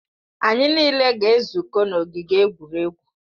Anyị niile ga-ezukọ n'ogige egwuregwu